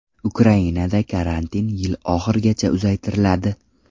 Ukrainada karantin yil oxirigacha uzaytiriladi.